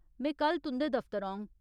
में कल तुं'दे दफ्तर औङ।